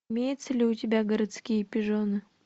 имеется ли у тебя городские пижоны